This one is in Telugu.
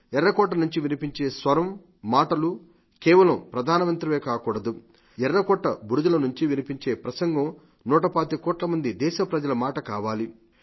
ఎర్రకోట నుండి వినిపించే ప్రసంగం నూటపాతిక కోట్ల మంది దేశ ప్రజల మాట కావాలి